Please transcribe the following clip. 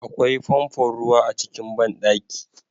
Akwai famfon ruwa a cikin banɗaki